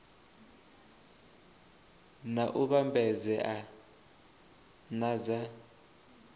na u vhambedzea na dza